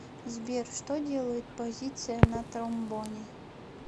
сбер что делает позиция на тромбоне